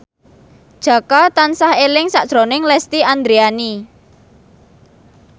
Jaka tansah eling sakjroning Lesti Andryani